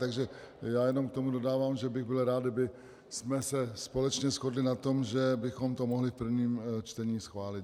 Takže já jenom k tomu dodávám, že bych byl rád, kdybychom se společně shodli na tom, že bychom to mohli v prvním čtení schválit.